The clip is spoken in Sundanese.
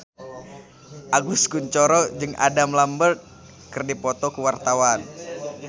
Agus Kuncoro jeung Adam Lambert keur dipoto ku wartawan